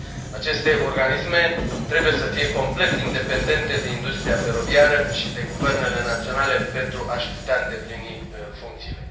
Aceste organisme trebuie să fie complet independente de industria feroviară și de guvernele naționale pentru a și putea îndeplini funcțiile.